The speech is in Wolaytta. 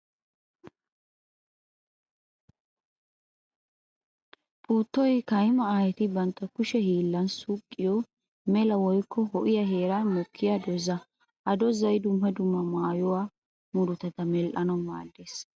Puuttoy kaymma aayetti bantta kushe hiillan suuqqiyo mela woykko ho''iya heeran mokkiya dooza. Ha doozay dumma dumma maayuwa murutatta medhdhanawu maaddees.